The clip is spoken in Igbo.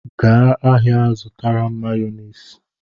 Gaa ahịa ga-zụtara m Mayọnesị!